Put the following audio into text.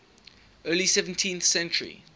early seventeenth century